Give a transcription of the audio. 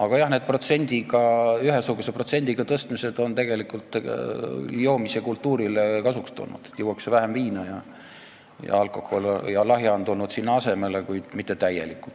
Aga jah, need ühesuguse protsendiga tõstmised on tegelikult joomiskultuurile kasuks tulnud, juuakse vähem viina ja lahja alkohol on tulnud asemele, kuid mitte täielikult.